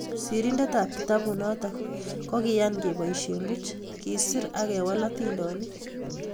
Sirindetab kitabunotok kokiiyan keboisye puch, kesir ak kewal atindoniik.